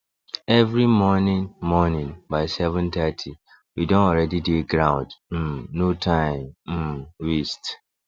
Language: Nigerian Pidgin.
every morning morning by 730 we don already dey ground um no time um waste